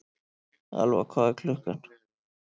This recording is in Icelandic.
Elfa, hvað er klukkan?